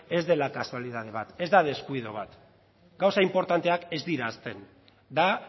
ez dela kasualitate bat ez da deskuido bat gauza inportanteak ez dira ahazten da